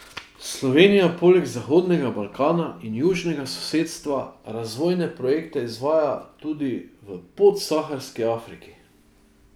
Slovenija poleg Zahodnega Balkana in Južnega sosedstva, razvojne projekte izvaja tudi v Podsaharski Afriki.